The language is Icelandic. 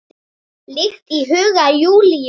Líkt og í huga Júlíu.